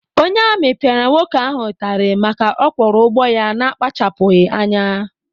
Onye amị piara nwoke ahụ itari màkà ọ Kworo ụgbọ ya na-skachapughi anya.